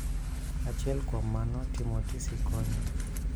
Achiel kuom mano, timo tisi konyo